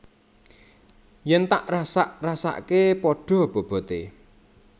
Yen tak rasak rasakke pada bobote